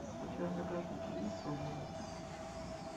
у тебя в загашнике есть свобода